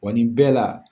Wa nin bɛɛ la